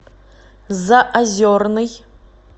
заозерный